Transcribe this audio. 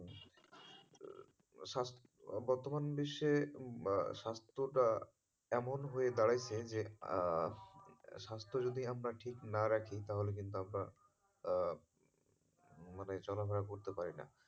স্বাস্থ্য, বর্তমান বিশ্বে স্বাস্থ্যটা এমন হয়ে দাঁড়াইছে যে আহ স্বাস্থ্য যদি আমরা ঠিক না রাখি তাহলে কিন্তু আপনার আহ মানে চলাফেরা করতে পারিনা।